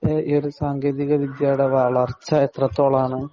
ഈയൊരു സാങ്കേതിക വിദ്യയുടെ വളര്‍ച്ച എത്രത്തോളാണ്.